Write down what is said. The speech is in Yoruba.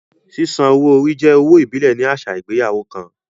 Sísan owó orí jẹ́ owó ìbílẹ̀ ní àṣà ìgbéyàwó kan